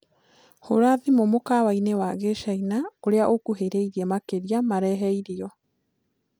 hũra thĩmũ mũkawaĩni wa gĩchĩna ũrĩa ukuhiriirie makĩrĩa marehe ĩrĩo